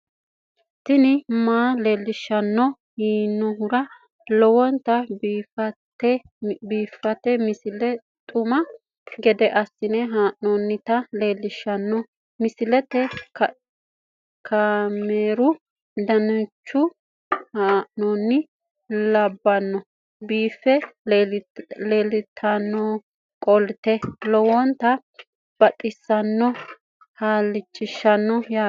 tini maa leelishshanno yaannohura lowonta biiffanota misile xuma gede assine haa'noonnita leellishshanno misileeti kaameru danchunni haa'noonni lamboe biiffe leeeltannoqolten lowonta baxissannoe halchishshanno yaate